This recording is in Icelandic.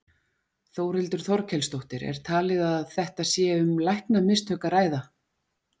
Þórhildur Þorkelsdóttir: Er talið að þetta sé um læknamistök að ræða?